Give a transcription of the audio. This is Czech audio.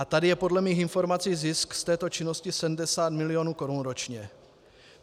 A tady je podle mých informací zisk z této činnosti 70 milionů korun ročně.